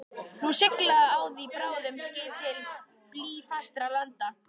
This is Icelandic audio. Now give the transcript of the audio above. Nú sigla á því bráðnuð skip til blýfastra landa.